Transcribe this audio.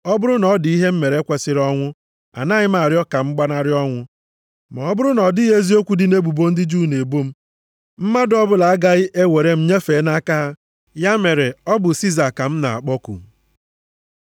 Ọ bụrụ na ọ dị ihe m mere kwesiri ọnwụ, anaghị m arịọ ka m gbanarị ọnwụ. Ma ọ bụrụ na ọ dịghị eziokwu dị nʼebubo ndị Juu a na-ebo m, mmadụ ọbụla agaghị e were m nyefee nʼaka ha. Ya mere, ọ bụ Siza ka m na-akpọku.”